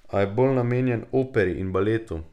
A je bolj namenjen Operi in Baletu.